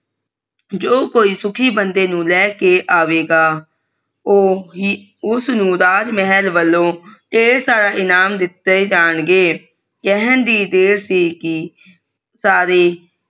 ਜੋ ਕੋਈ ਸੁਖੀ ਬੰਦੇ ਨੂੰ ਲੈਕੇ ਆਵੇਗਾ ਊ ਹੀ ਉਸ ਨੂੰ ਰਾਜਮਹਲ ਵੱਲੋਂ ਢੇਰ ਸਾਰੇ ਇਨਾਮ ਦਿੱਤੇ ਜਾਣਗੇ ਕੇਹਨ ਦੀ ਦੇਰ ਸੀ ਕਿ ਸਾਰੇ